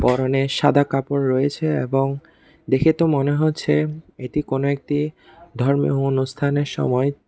পরনে সাদা কাপড় রয়েছে এবং দেখে তো মনে হচ্ছে এটি কোনো একটি ধর্মীয় অনুষ্ঠানের সময়--